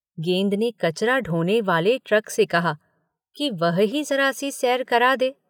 गेंद ने कचरा ढोने वाले ट्रक से कहा कि वह ही जरा-सी सैर करा दे।